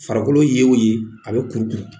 Farikolo ye o ye a bɛ kurukuru